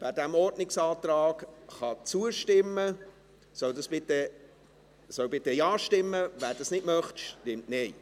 Wer diesem Ordnungsantrag zustimmen kann, soll bitte Ja stimmen, wer das nicht möchte, stimmt Nein.